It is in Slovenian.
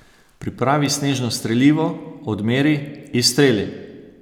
Pripravi snežno strelivo, odmeri, izstreli!